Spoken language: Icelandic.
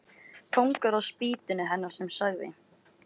Kóngur á spýtunni hennar sem sagði